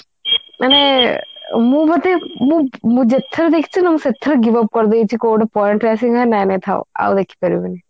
ମାନେ ମୁଁ ବୋଧେ ମୁଁ ଯେତେଥର ଦେଖିଛି ମୁଁ ସେତେଥର give up କରିଦେଇଛି କୋଊ ଗୋଟେ point ଥିଲା ସେ ସେ ନାଇଁ ନାଇଁ ଥାଉ ଆଉ ଦେଖି ପାରିବିନି